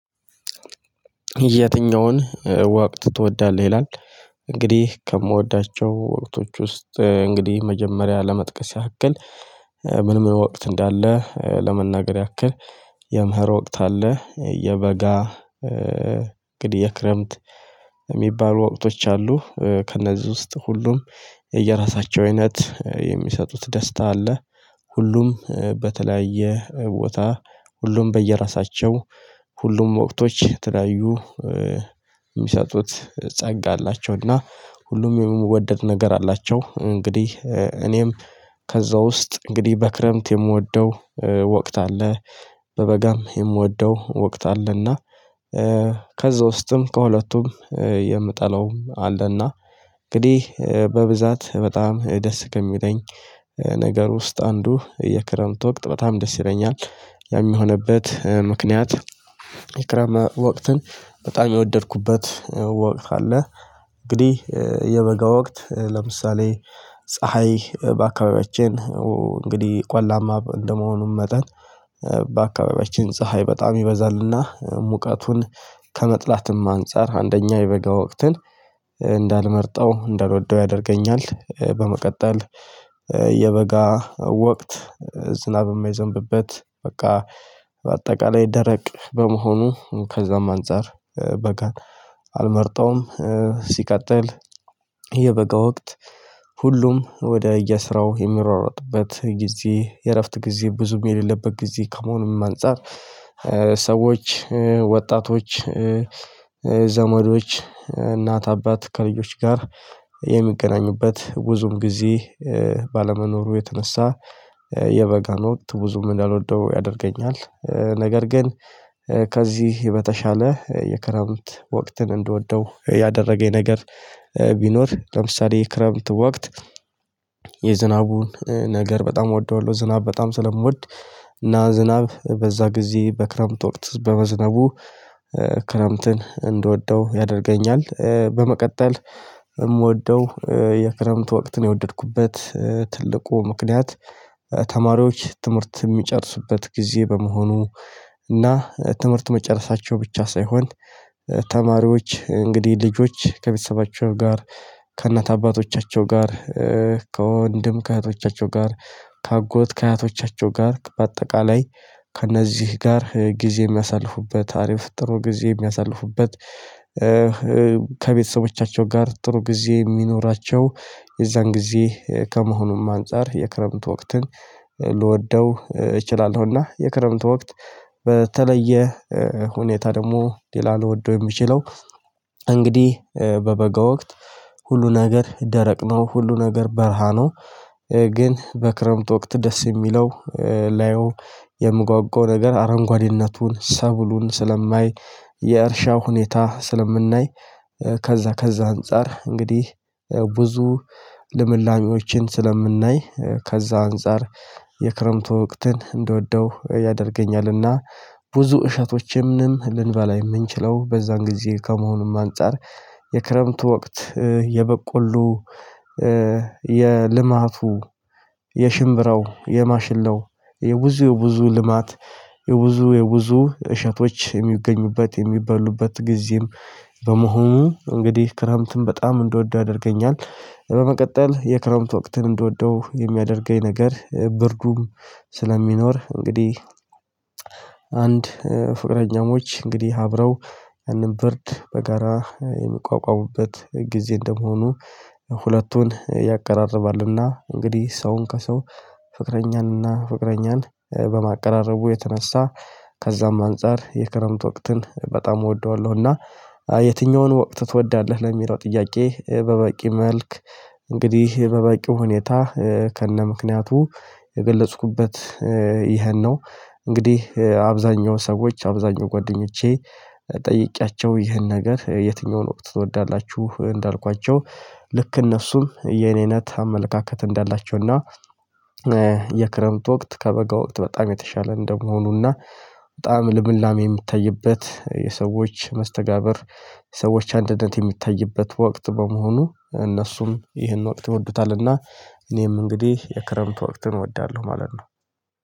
የትኛውን ወቅት ትወዳለህ ይላል? እንግዲህ ከምወዳቸው ወቅቶች ውስጥ እንግዲህ መጀመሪያ ለመጥቀስ ያክል ምን ምን ወቅት እንዳለ ለመናገር ያክል የምህር ወቅት አለ። የበጋ እንግዲህ የክረምት የሚባሉ ወቅቶች አሉ። ከእነዚህ ውስጥ ሁሉም የየራሳቸው አይነት የሚሰጡት ደስታ አለ። ሁሉም በተለያየ ቦታ ሁሉም በየራሳቸው ሁሉም ወቅቶች የተለያዩ የሚሰጡት ጸጋ አላቸው። እና ሁሉም የሚወደድ ነገር አላቸው እንግዲህ እኔም ከዛ ውስጥ እንግዲህ በክረምት የምወደው ወቅት አለ። በበጋም የምወደው ወቅት አለና ከዛ ውስጥም ከሁለቱም የምጠላውም አለና እንግዲህ በብዛት በጣም ደስ ከሚለኝ ነገር ውስጥ አንዱ የክረምት ወቅት በጣም ደስ ይለኛል። ያም የሆነበት ምክንያት የክረምት ወቅትን በጣም የወደድኩበት ወቅት አለ። እንግዲህ የበጋ ወቅት ለምሳሌ ፀሀይ በአካባቢያችን እንግዲህ ቋላማ እንደመሆኑም መጠን በአካባቢያችን ፀሀይ በጣም ይበዛልና ሙቀቱን ከመጥላትም አንፃር አንደኛ የበጋ ወቅትን እንዳልመርጠው እንዳልወደው ያደርገኛል። በመቀጠል የበጋ ወቅት ዝናብ የማይዘንብበት በቃ በአጠቃላይ ደረቅ በመሆኑ ከዛም አንፃር በጋን አልመርጠውም። ሲቀጥል የበጋ ወቅት ሁሉም ወደ የስራው የሚሯሯጥበት ጊዜ የእረፍት ጊዜ ብዙም የሌለበት ጊዜ ከመሆኑም አንፃር ሰዎች ወጣቶች ዘመዶች እናት አባት ከልጆች ጋር የሚገናኙበት ብዙም ጊዜ ባለመኖሩ የተነሳ የበጋን ወቅት ብዙም እንዳልወደው ያደርገኛል። ነገር ግን ከዚህ በተሻለ የክረምት ወቅትን እንደወደው ያደረገኝ ነገር ቢኖር ለምሳሌ የክረምት ወቅት የዝናቡን ነገር በጣም እወደዋለሁ። ዝናብ በጣም ስለምወድ እና ዝናብ በዛ ጊዜ በክረምት ወቅት በመዝነቡ ክረምትን እንድወደው ያደርገኛል። በመቀጠል የምወደው የክረምት ወቅትን የወደድኩበት ትልቁ ምክንያት ተማሪዎች ትምህርት የሚጨርሱበት ጊዜ በመሆኑ። እና ትምህርት መጨረሳቸው ብቻ ሳይሆን ተማሪዎች እንግዲህ ልጆች ከቤተሰባቸው ጋር ከእናት አባቶቻቸው ጋር ከወንድም ከእህቶቻቸው ጋር ከአጎት ከአያቶቻቸው ጋር በአጠቃላይ ከእነዚህ ጋር ጊዜ የሚያሳልፉበት አሪፍ ጥሩ ጊዜ የሚያሳልፉበት። ከቤተሰቦቻቸው ጋር ጥሩ ጊዜ የሚኖራቸው የዛን ጊዜ ከመሆኑም አንፃር የክረምት ወቅትን። እችላለሁ እና የክረምት ወቅት በተለየ ሁኔታ ደግሞ ሌላ ልወደው የምችለው እንግዲህ በበጋ ወቅት ሁሉ ነገር ደረቅ ነው ሁሉ ነገር በረሃ ነው። ግን በክረምት ወቅት ደስ የሚለው ላየው የምጓጓው ነገር አረንጓዴነቱን ሰብሉን ስለማይ የእርሻው ሁኔታ ስለምናይ ከዛ ከዛ አንፃር እንግዲህ ብዙ ልምላሚዎችን ስለምናይ ከዛ አንፃር የክረምቱ ወቅትን እንድወደው ያደርገኛልና ብዙ እሸቶችም ልንበላ የምንችለው በዛን ጊዜ ከመሆኑም አንፃር የክረምቱ ወቅት የበቆሎ የልማቱ የሽምብራው የማሽላው የብዙ የብዙ ልማት የብዙ የብዙ እሸቶች የሚገኙበት የሚበሉበት ጊዜም በመሆኑ እንግዲህ ክረምትም በጣም እንደወደው ያደርገኛል። በመቀጠል የክረምት ወቅትን እንድወደው የሚያደርገኝ ነገር ብርዱም ስለሚኖር እንግዲህ አንድ ፍቅረኛሞች እንግዲህ አብረው ያንን ብርድ በጋራ የሚቋቋሙበት ጊዜ እንደመሆኑ ሁለቱን ያቀራርባልና እንግዲህ ሰውን ከሰው ፍቅረኛንና ፍቅረኛን በማቀራረቡ የተነሳ ከዛም አንፃር የክረምት ወቅትን በጣም እወደዋለሁ። እና የትኛውን ወቅት ትወዳለህ ለሚለው ጥያቄ በበቂ መልክ እንግዲህ በበቂው ሁኔታ ከነምክንያቱ የገለጽኩበት ይሄን ነው። እንግዲህ አብዛኛው ሰዎች አብዛኛው ጓደኞቼ ጠይቄያቸው ይህን ነገር የትኛውን ወቅት ትወዳላችሁ እንዳልኳቸው ልክ እነሱም የኔ እይነት አመለካከት እንዳላቸው እና የክረምት ወቅት ከበጋ ወቅት በጣም የተሻለ እንደመሆኑ እና በጣም ልምላሜ የምታይበት የሰዎች መስተጋብር ሰዎች አንድነት የሚታይበት ወቅት በመሆኑ እነሱም ይህን ወቅት ይወዱታልና። እኔም እንግዲህ የክረምት ወቅት እወዳለሁ ማለት ነው።